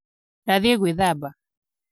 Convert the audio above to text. Ndathiĩ gwĩthamba.